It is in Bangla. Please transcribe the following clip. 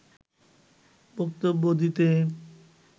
বক্তব্য দিতে